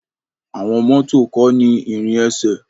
Àwọn mọto ko ni ìrin ẹsẹ.